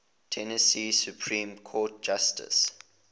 tennessee supreme court justices